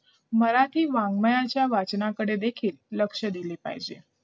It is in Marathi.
मराठी वाड्मयाच्या वाचनाकडे देखील लक्ष दिले पाहिजे